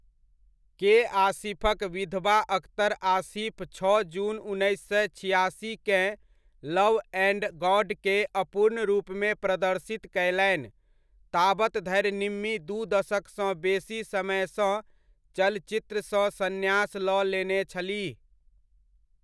के.आसिफक विधवा अख्तर आसिफ छओ जून उन्नैस सए छिआसी'केँ लव एण्ड गॉडके अपूर्ण रूपमे प्रदर्शित कयलनि, ताबत धरि निम्मी दू दशकसँ बेसी समयसँ चलचित्रसँ सन्यास लऽ लेने छलीह।